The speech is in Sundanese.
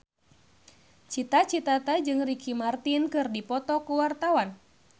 Cita Citata jeung Ricky Martin keur dipoto ku wartawan